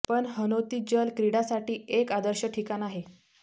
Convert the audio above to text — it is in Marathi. पण हनोती जल क्रीडासाठी एक आदर्श ठिकाण आहे